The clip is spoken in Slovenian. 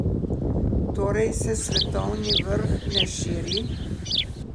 Torej se svetovni vrh ne širi?